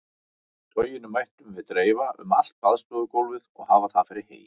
Toginu mættum við dreifa um allt baðstofugólfið og hafa það fyrir hey.